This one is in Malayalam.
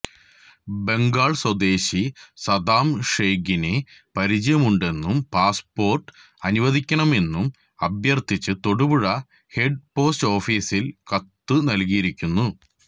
ബംഗാള് സ്വദേശി സദ്ദാം ഷെയ്ഖിനെ പരിചയമുണ്ടെന്നും പാസ്പോര്ട്ട് അനുവദിക്കണമെന്നും അഭ്യര്ഥിച്ചു തൊടുപുഴ ഹെഡ് പോസ്റ്റ് ഓഫിസില് കത്തുനല്കിയിരുന്നു